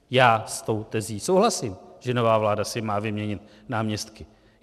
Já s tou tezí souhlasím, že nová vláda si má vyměnit náměstky.